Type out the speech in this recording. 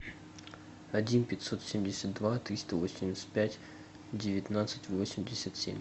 один пятьсот семьдесят два триста восемьдесят пять девятнадцать восемьдесят семь